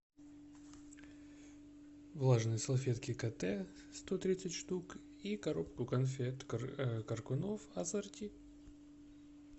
влажные салфетки кате сто тридцать штук и коробку конфет коркунов ассорти